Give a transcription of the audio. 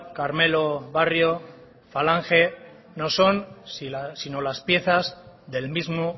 carmelo barrio falange no son si no las piezas del mismo